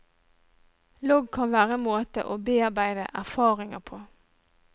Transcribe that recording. Logg kan være en måte å bearbeide erfaringer på.